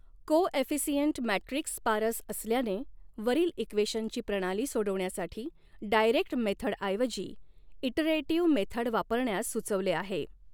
Coefficient matrix sparse असल्याने वरील इक्वेशनची प्रणाली सोडवण्यासाठी डाइरेक्ट मेथडऐवजी ईटरेटिव्ह मेथड वापरण्यास सुचवले आहे.